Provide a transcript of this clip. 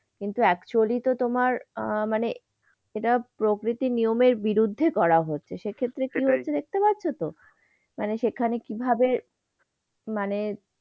কিন্তু actually তো তোমার আহ মানে এটা প্রকৃতির নিয়মের বিরুদ্ধে করা হচ্ছে, সেক্ষেত্রে কি হয়েছে দেখতে পাচ্ছতো? মানে সেখানে কিভাবে মানে,